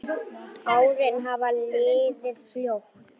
Árin hafa liðið fljótt.